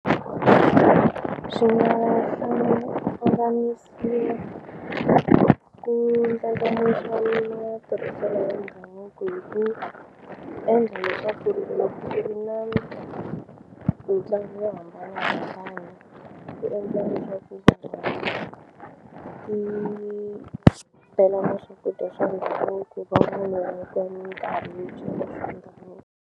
Swi nga ku ndlandlamuxa matirhiselo ya ndhavuko hi ku endla leswaku loko ku ri na mitlangu yo hambana mitlangu yi endla leswaku ku tlhela ku swakudya swa ndhavuko .